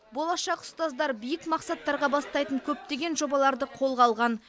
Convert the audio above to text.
болашақ ұстаздар биік мақсаттарға бастайтын көптеген жобаларды қолға алған